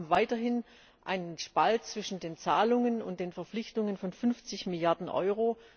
Wir haben weiterhin einen Spalt zwischen den Zahlungen und den Verpflichtungen von 50 Milliarden Euro.